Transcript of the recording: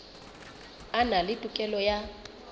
a na le tokelo ya